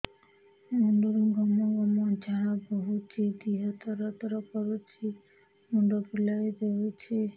ମୁଣ୍ଡରୁ ଗମ ଗମ ଝାଳ ବହୁଛି ଦିହ ତର ତର କରୁଛି ମୁଣ୍ଡ ବୁଲାଇ ଦେଉଛି